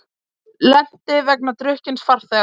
Lenti vegna drukkins farþega